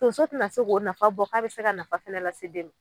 Tonso te na se k'o nafa bɔ k'a be se ka nafa fɛnɛ lase den ma